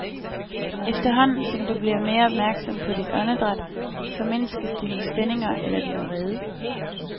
Efterhånden som du bliver mere opmærksom på dit åndedræt, formindskes dine spændinger eller din vrede.